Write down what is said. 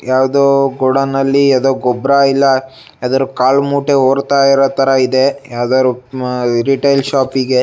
ಯಾವ್ದೋ ಗೋಡನ್ ನಲ್ಲಿ ಯಾವ್ದೋ ಗೊಬ್ಬರ ಇಲ್ಲ ಯಾವಾದರೂ ಕಾಲ್ ಮ್ಯೂಟ್ ಹೂರ್ತ ಇರು ಕಾಣ್ತಾ ಇದೆ ರಿಟೇಲ್ ಶೋಪಿಗೆ .